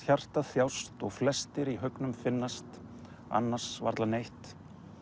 hjartað þjást og flestir í haugnum finnast annars varla neitt